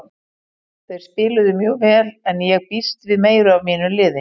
Þeir spiluðu mjög vel en ég býst við meiru af mínu liði.